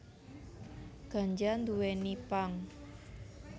Ganja nduwèni pang